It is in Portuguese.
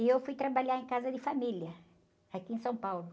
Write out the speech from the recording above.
E eu fui trabalhar em casa de família, aqui em São Paulo.